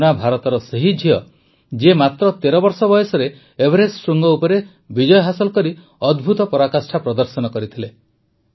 ପୂର୍ଣ୍ଣା ଭାରତର ସେହି ଝିଅ ଯିଏ ମାତ୍ର ୧୩ ବର୍ଷ ବୟସରେ ଏଭରେଷ୍ଟ ଶୃଙ୍ଗ ଉପରେ ବିଜୟ ହାସଲ କରି ଅଦ୍ଭୁତ ପରାକାଷ୍ଠା ପ୍ରଦର୍ଶନ କରିଥିଲେ